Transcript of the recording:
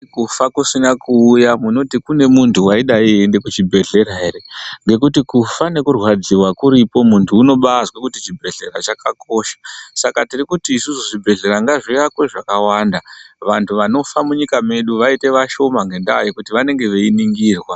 Kufa kusina kuuya munoti kune muntu waidai eyiende kuchibhedhlera here, ngekuti kufa ngekurwadziwa kuriko, muntu unombazwa kuti chibhedhlera chakakosha. Saka tiri kuti isusu zvibhedhlera ngazvivakwe zvakawanda, vantu vanofa munyika medu vaite vashoma ngendaa yekuti vanenge veyiningirwa.